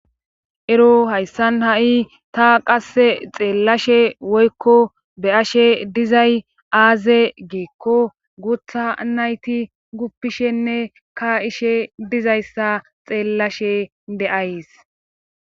ero hayssan ha7i ta qasse xeellashe woykko be7ashe dizay aaze geekko guutha nayti guppishenne ka ishe dizayssa xeellashe de7ays